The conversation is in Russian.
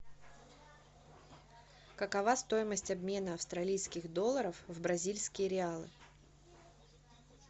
какова стоимость обмена австралийских долларов в бразильские реалы